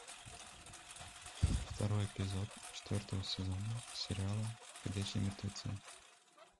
второй эпизод четвертого сезона сериала ходячие мертвецы